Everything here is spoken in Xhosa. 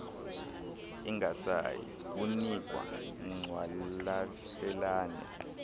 ingasayi kunikwa ngqwalaselane